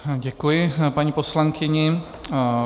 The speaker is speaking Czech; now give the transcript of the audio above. Děkuji paní poslankyni.